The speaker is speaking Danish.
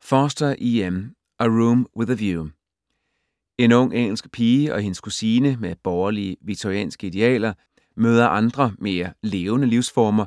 Forster, E.M.: A room with a view En ung engelsk pige og hendes kusine med borgerlige victorianske idealer møder andre mere levende livsformer